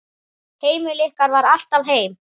Heimili ykkar var alltaf heim.